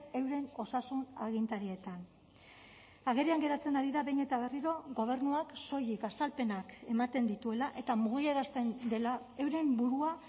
euren osasun agintarietan agerian geratzen ari da behin eta berriro gobernuak soilik azalpenak ematen dituela eta mugiarazten dela euren burua